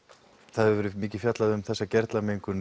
það hefur verið mikið fjallað um þessa